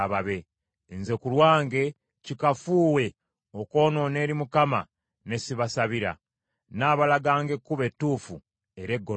Nze ku lwange, kikafuuwe, okwonoona eri Mukama ne ssibasabira; nnaabalaganga ekkubo ettuufu era eggolokofu.